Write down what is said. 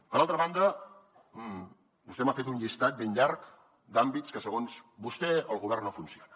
per altra banda vostè m’ha fet un llistat ben llarg d’àmbits en què segons vostè el govern no funciona